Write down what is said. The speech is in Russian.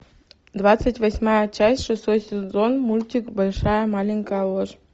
двадцать восьмая часть шестой сезон мультик большая маленькая ложь